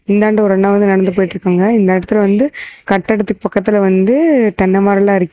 இந்தாண்ட ஒரு அண்ணா வந்து நடந்து போயிட்டுருக்காங்க இந்த எடத்துல வந்து கட்டடத்துக்கு பக்கத்துல வந்து தென்ன மரல்லா இருக்கு.